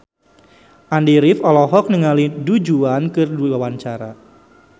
Andy rif olohok ningali Du Juan keur diwawancara